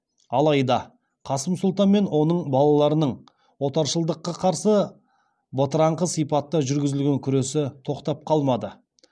алайда қасым сұлтан мен оның балаларының отаршылдыққа қарсы бытыраңқы сипатта жүргізген күресі тоқтап қалмады